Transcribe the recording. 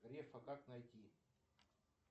грефа как найти